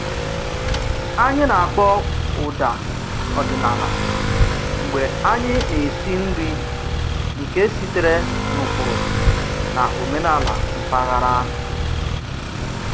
Anyị na-akpọ ụda ọdịnala mgbe anyị na-esi nri nke sitere n'ụkpụrụ na omenala mpaghara